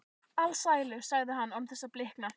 Alsælu, sagði hann án þess að blikna.